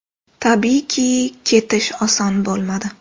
Tabiiyki, ketish oson bo‘lmadi.